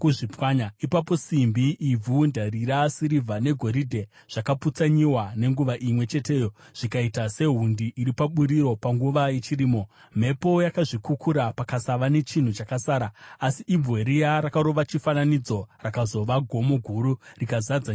Ipapo simbi, ivhu, ndarira, sirivha, negoridhe zvakaputsanyiwa nenguva imwe cheteyo zvikaita sehundi iri paburiro panguva yechirimo. Mhepo yakazvikukura pakasava nechinhu chakasara. Asi ibwe riya rakarova chifananidzo rakazova gomo guru rikazadza nyika yose.